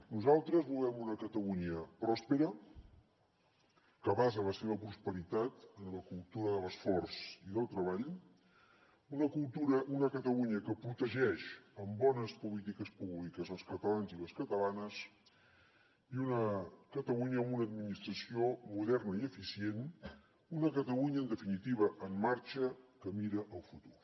nosaltres volem una catalunya pròspera que basa la seva prosperitat en la cultura de l’esforç i del treball una catalunya que protegeix amb bones polítiques públiques els catalans i les catalanes i una catalunya amb una administració moderna i eficient una catalunya en definitiva en marxa que mira al futur